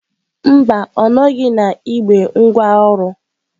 Mba, ọ nọghị na igbe ngwaọrụ.